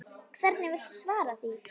Hvernig viltu svara því?